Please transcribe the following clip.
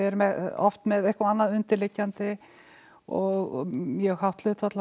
oft með eitthvað annað undirliggjandi og mjög hátt hlutfall af